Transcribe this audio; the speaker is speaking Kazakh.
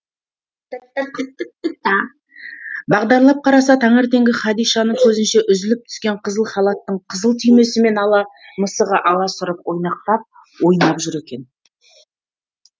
бағдарлап қараса таңертеңгі хадишаның көзінше үзіліп түскен қызыл халаттың қызыл түймесімен ала мысығы аласұрып ойнақтап ойнап жүр екен